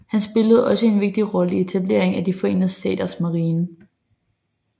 Han spillede også en vigtig rolle i etableringen af De forenede staters marine